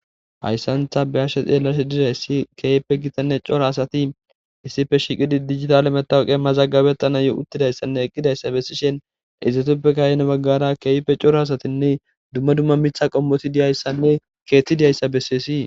Hayssantha be ashe xeellashe dirayssi keeyppe gitanne cora asati issife shiqidi dijitale metawuqe mazagabettana yo uttidayssanne eqqidayssa bessishen izetuppe kayene baggara keeyppe cora asatinne dumma dumma mitha qommoti diyayssanne keeththi diyayssa bessees.